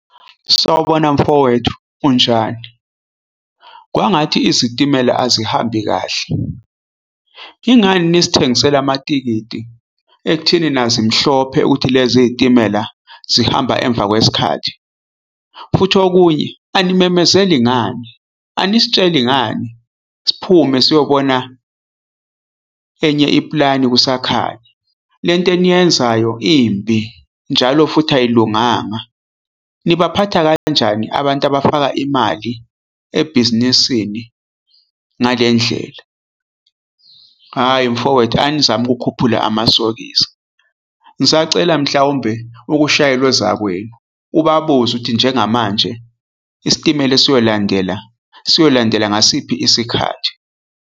Sawubona mfowethu unjani? Kwangathi izitimela azihambi kahle. Ingani nisithengisela amatikiti ekutheni nazi mhlophe ukuthi lezi zitimela zihamba emva kwesikhathi? Futhi okunye animemezeli ngani, anisitsheli ngani? S'phume siyobona enye iplani kusakhanya, lento eniyenzayo imbi njalo futhi ayilunganga. Nibaphatha kanjani abantu abafaka imali ebhizinisini ngale ndlela? Hhayi mfowethu, anizame ukukhuphula amasokisi. Ngisacela mhlawumbe ukushayele ozakwenu ubabuze ukuthi njengamanje isitimela esiyolandela siyolandela ngasiphi isikhathi.